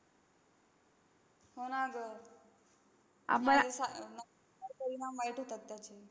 हो ना गं, नाहीतर परिणाम वाईट होतात त्याचे.